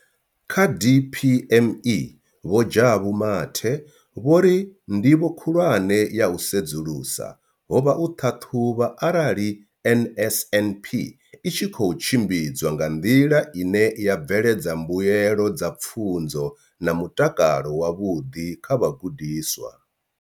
Kha DPME, Vho Jabu Mathe, vho ri ndivho khulwane ya u sedzulusa ho vha u ṱhaṱhuvha arali NSNP i tshi khou tshimbidzwa nga nḓila ine ya bveledza mbuelo dza pfunzo na mutakalo wavhuḓi kha vhagudiswa.